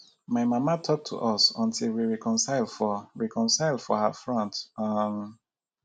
my mama talk to us until we reconcile for reconcile for her front um